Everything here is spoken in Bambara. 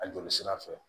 A joli sira fɛ